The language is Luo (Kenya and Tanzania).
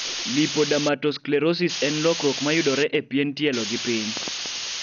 Lipodermatosclerosis en lokruok mayudore e pien tielo gipiny